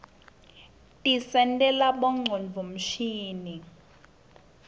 tisentela bongcondvo mshini